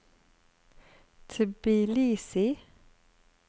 Tbilisi